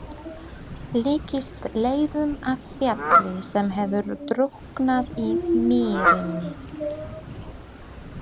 Líkist leifum af fjalli sem hefur drukknað í mýrinni.